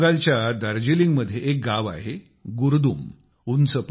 पश्चिम बंगालच्या दार्जिलिंगमध्ये एक गाव आहे गुरदुम